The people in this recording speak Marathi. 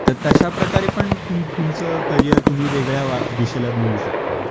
तर तश्या प्रकारे पण तुम तुमच करिअर तुम्ही वेगळ्या दिशेला नेऊ शकता